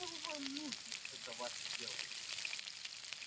а что вам нужно это ваше дело